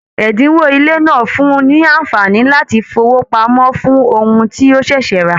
Ẹdinwo ilé náà fún ní anfààní láti fowópamọ́ fún ohùn to ṣẹṣẹ ra.